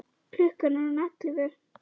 Klukkan er orðin ellefu.